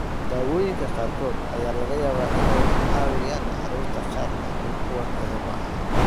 Daawooyinka qaarkood ayaa laga yaabaa inay ku caawiyaan carruurta qaar laakiin kuwa kale maaha.